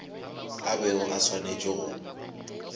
a bego a swanetše go